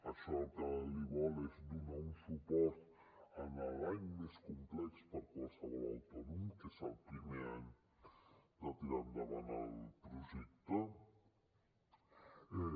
això el que li vol és donar un suport a l’any més complex per qualsevol autònom que és el primer any de tirar endavant el projecte